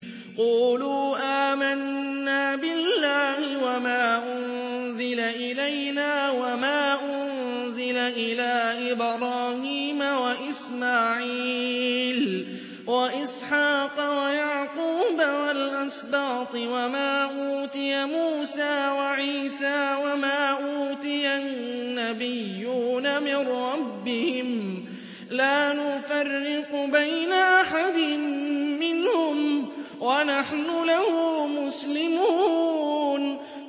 قُولُوا آمَنَّا بِاللَّهِ وَمَا أُنزِلَ إِلَيْنَا وَمَا أُنزِلَ إِلَىٰ إِبْرَاهِيمَ وَإِسْمَاعِيلَ وَإِسْحَاقَ وَيَعْقُوبَ وَالْأَسْبَاطِ وَمَا أُوتِيَ مُوسَىٰ وَعِيسَىٰ وَمَا أُوتِيَ النَّبِيُّونَ مِن رَّبِّهِمْ لَا نُفَرِّقُ بَيْنَ أَحَدٍ مِّنْهُمْ وَنَحْنُ لَهُ مُسْلِمُونَ